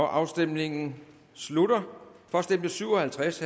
afstemningen slutter for stemte syv og halvtreds